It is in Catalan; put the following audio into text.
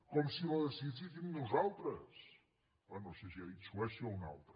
com si la decidíssim nosaltres bé no sé si ha dit suècia o un altre